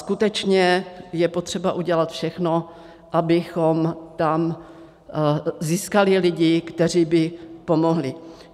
Skutečně je potřeba udělat všechno, abychom tam získali lidi, kteří by pomohli.